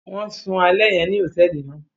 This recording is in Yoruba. Wọn sùn alẹ yẹn ní hotẹẹli náà